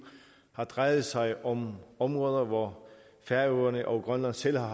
har drejet sig om områder hvor færøerne og grønland selv har